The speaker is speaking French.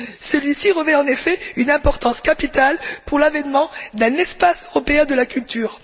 Celui ci revêt en effet une importance capitale pour l'avènement d'un espace européen de la culture.